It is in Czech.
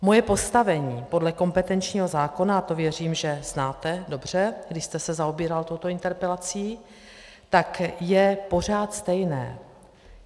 Moje postavení podle kompetenčního zákona, a to věřím, že znáte dobře, když jste se zaobíral touto interpelací, tak je pořád stejné.